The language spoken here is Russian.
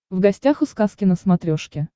в гостях у сказки на смотрешке